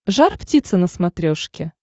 жар птица на смотрешке